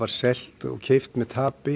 selt og keypt með tapi